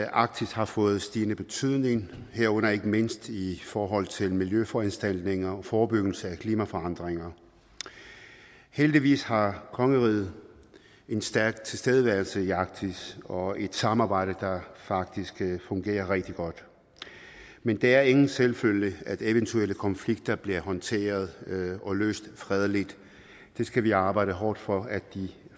arktis har fået stigende betydning herunder ikke mindst i forhold til miljøforanstaltninger og forebyggelse af klimaforandringer heldigvis har kongeriget en stærk tilstedeværelse i arktis og et samarbejde der faktisk fungerer rigtig godt men det er ingen selvfølge at eventuelle konflikter bliver håndteret og løst fredeligt det skal vi arbejde hårdt for at de